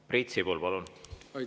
Priit Sibul, palun!